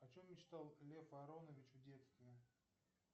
о чем мечтал лев аронович в детстве